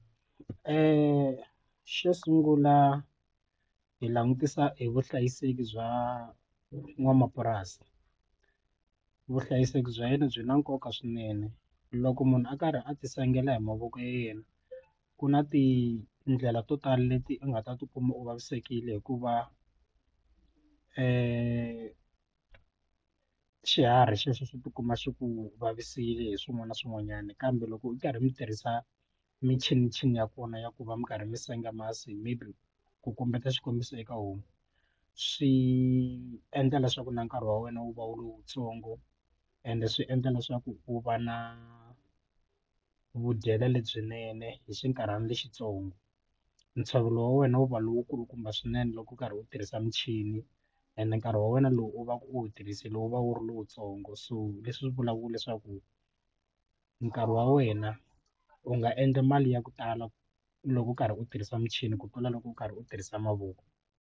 Xo sungula hi langutisa hi vuhlayiseki bya n'wanamapurasi vuhlayiseki bya yena byi na nkoka swinene loko munhu a karhi a ti sengela hi mavoko ya yena ku na tindlela to tala leti u nga ta tikuma u vavisekile hikuva xiharhi xexo xi tikuma xi ku vavisile hi swin'wana na swin'wanyana kambe loko u karhi mi tirhisa michinichini ya kona ya ku va mi karhi mi senga masi maybe ku kombeta xikombiso eka homu swi endla leswaku na nkarhi wa wena wu va lowutsongo ende swi endla leswaku wu va na vudyelo lebyinene hi xinkarhana lexitsongo ntshovelo wa wena wu va lowu kulukumba swinene loko u karhi u tirhisa michini and nkarhi wa wena lowu u va ku u tirhisile wu va wu ri lowutsongo so leswi vulaka leswaku nkarhi wa wena u nga endli mali ya ku tala loko u karhi u tirhisa michini ku tlula loko u karhi u tirhisa mavoko.